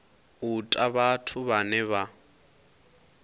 u ta vhathu vhane vha